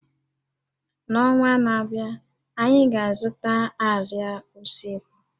N'ọnwa na-abịa, anyị ga-azụta àrịá usekwu